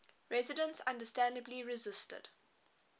residents understandably resisted